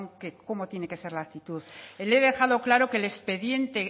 que cómo tiene que ser la actitud le he dejado claro que el expediente